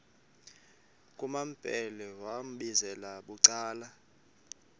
kumambhele wambizela bucala